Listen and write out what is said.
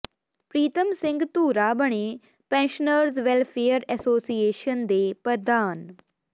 ਪ੍ਰੀਤਮ ਸਿੰਘ ਧੂਰਾ ਬਣੇ pensioners welfare association ਦੇ ਪ੍ਰਧਾਨ